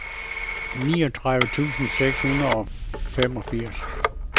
niogtredive tusind seks hundrede og femogfirs